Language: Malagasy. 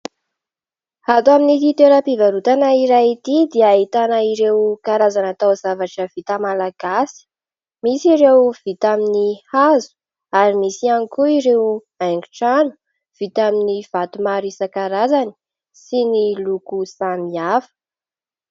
Ato amin'ity toeram-pivarotana iray ity dia ahitana ireo karazana taozavatra vita malagasy. Misy ireo vita amin'ny hazo, ary misy ihany koa ireo haingon-trano vita amin'ny vato maro isankarazany, sy ny loko samihafa.